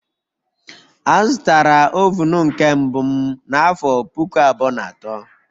Azụtara oven nke mbụ m n'afọ puku abụọ na atọ